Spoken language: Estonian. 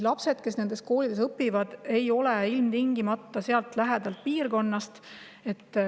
Lapsed, kes nendes koolides käivad, ei ole ilmtingimata sealt lähipiirkonnast.